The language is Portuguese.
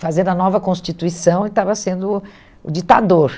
fazendo a nova constituição e estava sendo o ditador.